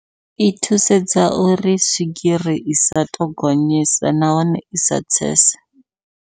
I thusedza uri swigiri isa to gonyisa nahone isa tsese.